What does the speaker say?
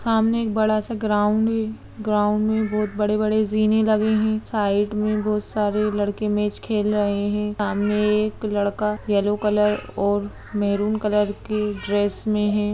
सामने एक बड़ा सा ग्राउंड है। ग्राउंड में बहोत बड़े-बड़े जीने लगे हैं। साइड में बहोत सारे लड़के मैच खेल रहे हैं। सामने एक लड़का येलो कलर और मैरून कलर के ड्रेस में हैं।